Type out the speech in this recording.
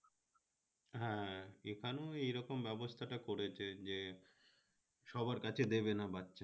হ্যাঁ এখানেও এইরকম ব্যবস্থাটা করেছে যে সবার কাছে দেবেনা বাচ্চা